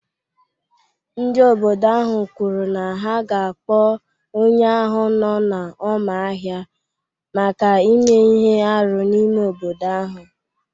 Ndị obodo ahụ kwuru na ha ga-akpọ onye ahụ nọ n’ọma ahịa maka ime ihe arụ n’ime obodo ahụ.